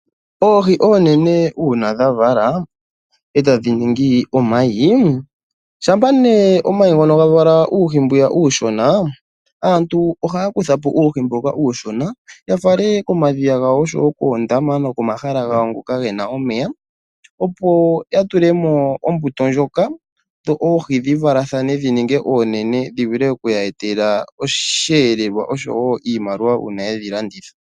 Oohi oonene uuna dhavala etadhi ningi omayi ,shampa nee omayi gavala uuhi mbu uushona ,aantu ohaya kuthapo uuhi mboka uushona yafale komadhiya gawo oshowo koondama nokomahala gawo ngoka gena omeya opo ya tulemo ombuto ndjoka dho oohi dhivalathane dhininge oonene dhivule oku ya etela osheelelwa oshowo iimaliwa uuna yedhi landitha.